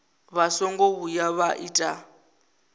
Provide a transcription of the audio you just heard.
vha songo vhuya vha ita